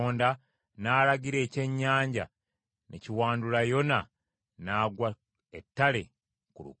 Awo Mukama Katonda n’alagira ekyennyanja ne kiwandula Yona n’agwa ettale ku lukalu.